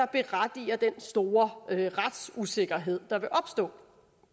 berettiger den store retsusikkerhed der vil opstå